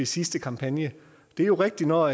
sidste kampagne det er jo rigtigt når